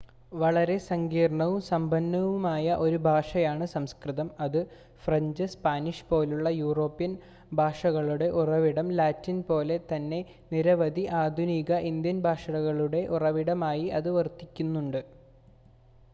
വളരെ സങ്കീർണ്ണവും സമ്പന്നവുമായ ഒരു ഭാഷയാണ് സംസ്കൃതം ഫ്രഞ്ച് സ്പാനിഷ് പോലുള്ള യൂറോപ്യൻ ഭാഷകളുടെ ഉറവിടം ലാറ്റിൻ പോലെ തന്നെ നിരവധി ആധുനിക ഇന്ത്യൻ ഭാഷകളുടെ ഉറവിടമായി അത് വർത്തിച്ചിട്ടുണ്ട്